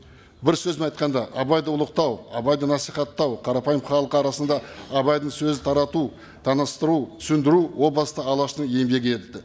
бір сөзбен айтқанда абайды ұлықтау абайды насихаттау қарапайым халық арасында абайдың сөзін тарату таныстыру түсіндіру о басты алаштың еңбегі еді